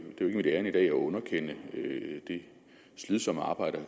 mit ærinde i dag at underkende det slidsomme arbejde